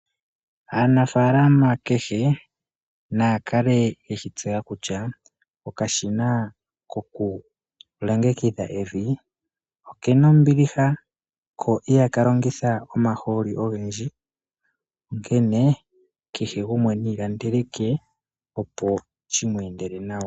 Aanafaalama kehe naya kale yeshi tseya kutya okashina koku longekidha evi okena ombiliha ko ihaka longitha omahooli ogendji, onkenee kehe gumwe niilandele ke opo shimweendele nawa.